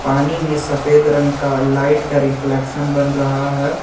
पानी में सफेद रंग का लाइट का रिफ्लेक्शन बन रहा है।